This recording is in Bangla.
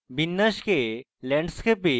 বিন্যাসকে landscape এ